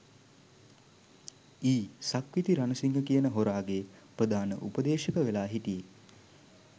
යි සක්විති රණසිංහ කියන හොරාගේ ප්‍රධාන උපදේශක වෙලා හිටියෙ.